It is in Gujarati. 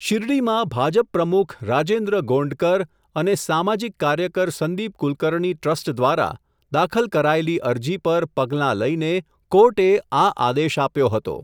શિરડીમાં ભાજપ પ્રમુખ રાજેન્દ્ર ગોંડકર અને સામાજિક કાર્યકર સંદિપ કુલકર્ણી ટ્રસ્ટ દ્વારા, દાખલ કરાયેલી અરજી, પર પગલાં લઇને, કોર્ટે આ આદેશ આપ્યો હતો.